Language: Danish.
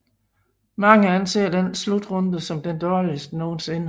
Mange anser denne slutrunde som den dårligste nogensinde